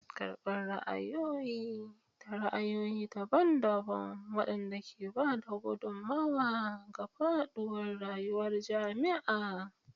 Karɓar ra'ayoyi da ra'ayoyi daban-daban waɗanda ke ba da gudummawa ga faɗuwar rayuwar jami'a.